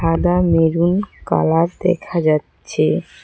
সাদা maroon colour দেখা যাচ্ছে।